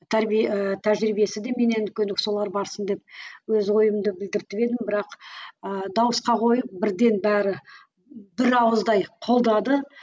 тәрбие ііі тәжірибесі де менен үлкен деп солар барсын деп өз ойымды білдіртіп едім бірақ ы дауысқа қойып бірден бәрі бір ауыздай қолдады